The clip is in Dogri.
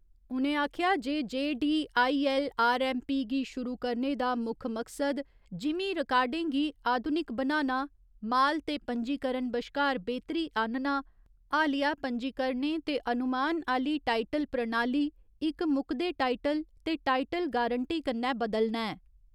उ'नें आखेआ जे D I L R M P गी शुरु करने दा मुक्ख मकसद जिमींं रिकार्डें गी आधुनिक बनाना, माल ते पंजीकरण बश्कार बेह्तरी आह्‌नना, हालिया पंजीकरणें ते अनुमान आह्‌ली टाईटल प्रणाली इक मुकदे टाईटल ते टाईटल गारंटी कन्नै बदलना ऐ।